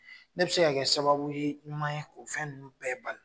Ne bi se ka kɛ sababu ye ɲuman ye o fɛn ninnu bɛɛ bali